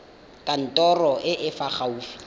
kantorong e e fa gaufi